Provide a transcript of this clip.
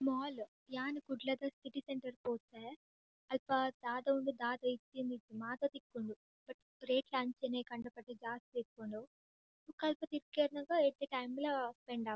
Mall ಯಾನ್ ಕುಡ್ಲದ city centre ಪೋತೆ ಅಲ್ಪ ದಾದ ಉಂಡು ದಾದ ಇಜ್ಜಿಂದ್ ಇಜ್ಜಿ ಮಾತ ತಿಕ್ಕುಂಡು ಬಟ್ ರೇಟ್ ಲ ಅಂಚೆನೆ ಕಂಡಪಟ್ಟೆ ಜಾಸ್ತಿ ಉಪ್ಪುಂಡು ಬೊಕ ಅಲ್ಪ ತಿಕ್ಕೆರ್ನಗ ಎಡ್ಡೆ ಟೈಮ್ ಲಾ ಸ್ಪೆಂಡ್ ಆಪುಂಡು.